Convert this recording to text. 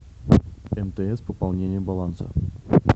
мтс пополнение баланса